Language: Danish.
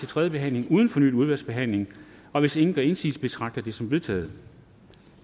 tredje behandling uden fornyet udvalgsbehandling og hvis ingen gør indsigelse betragter jeg det som vedtaget